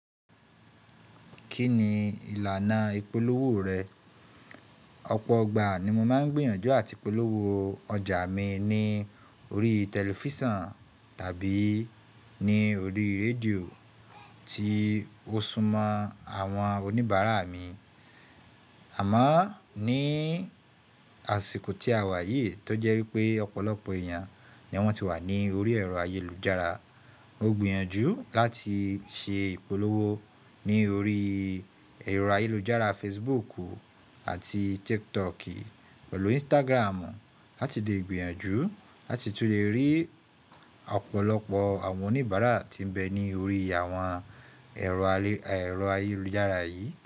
Kí ni ìlànà ìpolówó rẹ? Ọ̀pọ̀ ọgbà ni mo máa ń gbìyànjú àti polówó ọjà mi ní orí tẹlifíṣàn tàbí ní orí rédíò tí ó súmọ́ àwọn oníbàárà mi. Àmọ́ ní àsìkò tí àwa yìí tó jẹ́ wípé ọ̀pọ̀lọpọ̀ èèyàn ni wọ́n ti wà ní orí ẹ̀rọ ayélujára. Mo gbìyànjú láti ṣe ìpolówó ní orí ẹ̀rọ ayélujára Facebook àti TikTok pẹ̀lú Instagram láti lè gbìyànjú láti tún lè rí ọ̀pọ̀lọpọ̀ àwọn oníbàárà tí ń bẹ ní orí àwọn ẹ̀rọ ayélujára yìí.